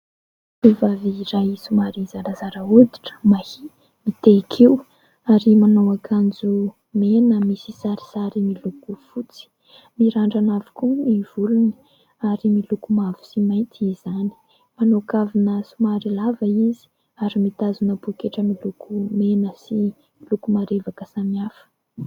Tovovavy iray somary zarazara hoditra, mahia, mitehin-kiho ary manao akanjo mena misy sarisary miloko fotsy. Mirandrana avokoa ny volony ary miloko mavo sy mainty izany. Manao kavina somary lava izy ary mitazona poketra miloko mena sy miloko marevaka samihafa.